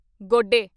ਗੋਡੇ